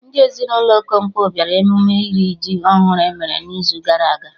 Ndị ezinụlọ Okonkwo bịara emume iri ji ọhụrụ emere n'izu gara aga